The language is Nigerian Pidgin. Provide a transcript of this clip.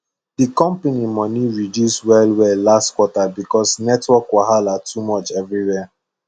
the company money reduce wellwell last quarter because network wahala too much everywhere